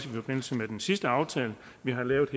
i forbindelse med den sidste aftale vi har lavet